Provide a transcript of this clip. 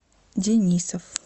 денисов